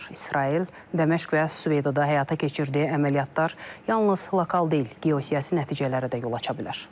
İsrail Dəməşq və Süveyda həyata keçirdiyi əməliyyatlar yalnız lokal deyil, geosiyasi nəticələrə də yol aça bilər.